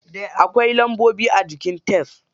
Akwai lambobi a jikin tef.